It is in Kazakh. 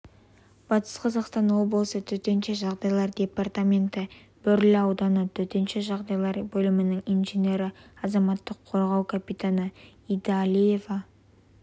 батыс қазақстан облысы төтенше жағдайлар департаменті бөрлі ауданы төтенше жағдайлар бөлімінің инженері азаматтық қорғау капитаны идалиева